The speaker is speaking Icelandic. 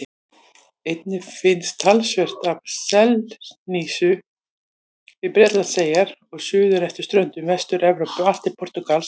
Einnig finnst talsvert af selhnísu við Bretlandseyjar og suður eftir ströndum Vestur-Evrópu allt til Portúgals.